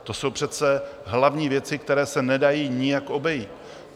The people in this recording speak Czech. To jsou přece hlavní věci, které se nedají nijak obejít.